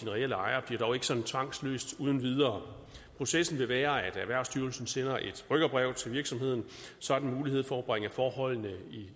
reelle ejere bliver dog ikke sådan tvangsopløst uden videre processen vil være at erhvervsstyrelsen sender et rykkerbrev til virksomheden så den har mulighed for at bringe forholdene